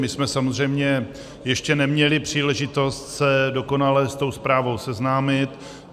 My jsme samozřejmě ještě neměli příležitost se dokonale s tou zprávou seznámit.